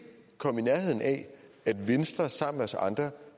komme i nærheden af at venstre sammen med os andre